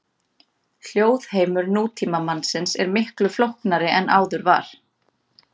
Hljóðheimur nútímamannsins er miklu flóknari en áður var.